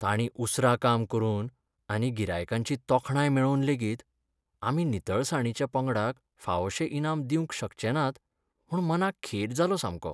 ताणीं उसरां काम करून आनी गिरायकांची तोखणाय मेळोवन लेगीत आमी नितळसाणीच्या पंगडाक फावशें इनाम दिवंक शकचे नात म्हूण मनाक खेद जालो सामको